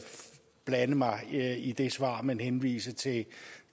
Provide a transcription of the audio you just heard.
blande mig i det svar men henvise til at et